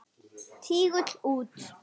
Tígull út.